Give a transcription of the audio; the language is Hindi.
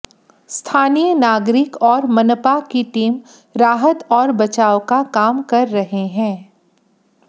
स्थानीय नागरिक और मनपा की टीम राहत और बचाव का काम कर रहे हैं